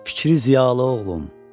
Fikri ziyalı oğlum.